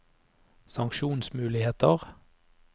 sanksjonsmuligheter